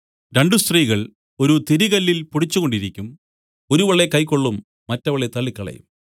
രണ്ടു സ്ത്രീകൾ ഒരു തിരികല്ലിൽ പൊടിച്ചു കൊണ്ടിരിക്കും ഒരുവളെ കൈക്കൊള്ളും മറ്റവളെ തള്ളിക്കളയും